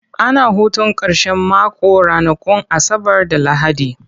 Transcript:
Ana hutun karshen mako ranakun Asabar da Lahadi.